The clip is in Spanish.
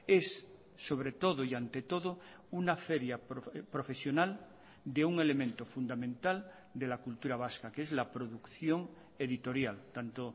es sobre todo y ante todo una feria profesional de un elemento fundamental de la cultura vasca que es la producción editorial tanto